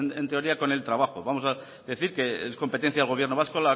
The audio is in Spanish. en teoría con el trabajo vamos a decir que es competencia del gobierno vasco